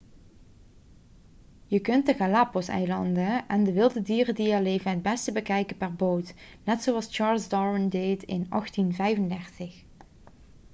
je kunt de galapagoseilanden en de wilde dieren die er leven het beste bekijken per boot net zoals charles darwin deed in 1835